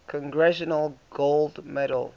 congressional gold medal